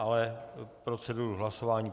Ale proceduru hlasování.